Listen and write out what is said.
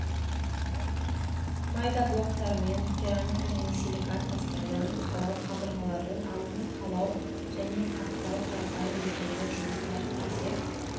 майда блоктармен керамика және силикат тастардан қалау қабырғалардың алдын қалау және қаптау қарапайым бетондық жұмыстар кесек